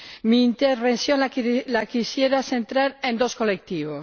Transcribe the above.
Mi intervención la quisiera centrar en dos colectivos.